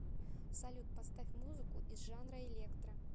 салют поставь музыку из жанра электро